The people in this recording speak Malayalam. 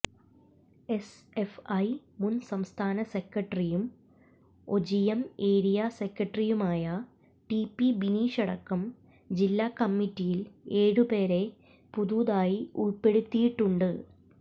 എസ്എഫ്ഐ മുൻ സംസ്ഥാന സെക്രട്ടറിയും ഒഞ്ചിയം ഏരിയാ സെക്രട്ടറിയുമായ ടി പി ബിനീഷടക്കം ജില്ലാ കമ്മിറ്റിയിൽ ഏഴുപേരെ പുതുതായി ഉൾപ്പെടുത്തിയിട്ടുണ്ട്